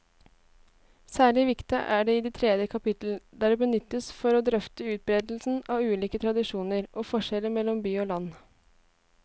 Særlig viktig er det i tredje kapittel, der det benyttes for å drøfte utbredelsen av ulike tradisjoner og forskjeller mellom by og land.